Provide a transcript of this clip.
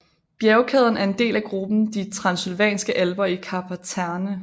Bjergkæden er en del af gruppen de Transsylvanske Alper i Karpaterne